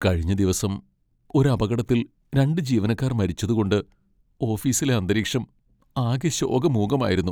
കഴിഞ്ഞ ദിവസം ഒരു അപകടത്തിൽ രണ്ട് ജീവനക്കാർ മരിച്ചതു കൊണ്ട് ഓഫീസിലെ അന്തരീക്ഷം ആകെ ശോകമൂകമായിരുന്നു.